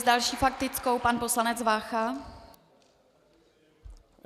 S další faktickou pan poslanec Vácha.